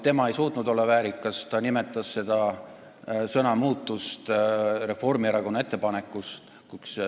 Tema ei suutnud olla väärikas: ta nimetas seda sõna muutust Reformierakonna ettepanekuks.